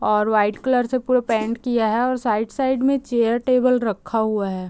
और white colour से पूरा पेंट किया हैऔर साइड - साइड में चेयर टेबल रखा हुआ है।